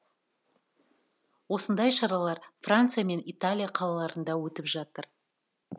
осындай шаралар франция мен италия қалаларында өтіп жатыр